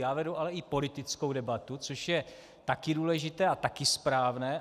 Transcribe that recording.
Já vedu ale i politickou debatu, což je také důležité a také správné.